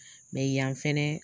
Mɛ yan fɛnɛ